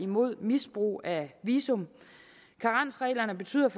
mod misbrug af visum karensreglerne betyder